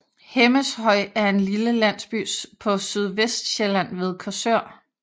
Hemmeshøj er en lille landsby på Sydvestsjælland ved Korsør